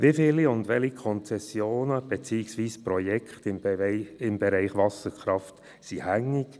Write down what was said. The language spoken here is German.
Wie viele und welche Konzessionen beziehungsweise Projekte im Bereich Wasserkraft sind hängig?